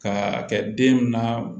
Ka kɛ den na